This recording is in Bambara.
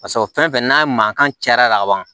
Paseke o fɛn fɛn n'a mankan cayara ka ban